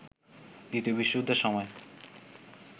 দ্বিতীয় বিশ্বযুদ্ধের সময়